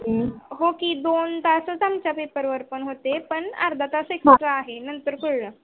हो की दोन तास पण त्या पेपरवर होते पण अर्धा तासानच आहे नंतर कळल.